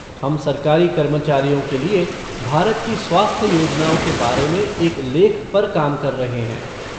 हम सरकारी कर्मचारियों के लिए भारत की स्वास्थ्य योजनाओं के बारे में एक लेख पर काम कर रहे हैं।